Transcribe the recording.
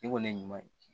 I kɔni ye ɲuman ye